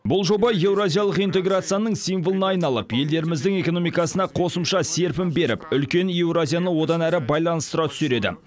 бұл жоба еуразиялық интеграцияның символына айналып елдеріміздің экономикасына қосымша серпін беріп үлкен еуразияны одан әрі байланыстыра түсер еді